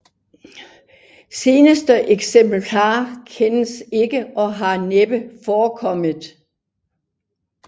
Senere eksemplarer kendes ikke og har næppe forekommet